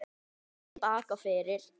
Kross í bak og fyrir.